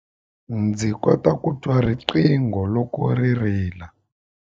Ndzi kota ku twa riqingho loko ri rila.